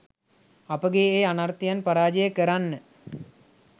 අපගේ ඒ අනර්ථයන් පරාජය කරන්න.